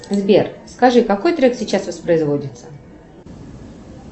сбер скажи какой трек сейчас воспроизводится